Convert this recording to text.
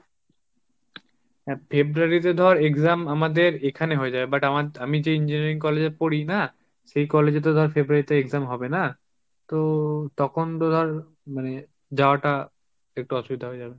February তে ধর exam আমাদের এখানে হয়ে যায়, but আমা~ আমি যে engineering college এ পড়ি না সেই college এ তো ধর February তে exam হবে না। তো তখন তো তো ধর মানে যাওয়া টা একটু অসুবিধা হয়ে যাবে।